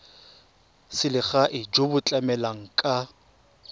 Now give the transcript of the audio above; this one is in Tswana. selegae jo bo tlamelang ka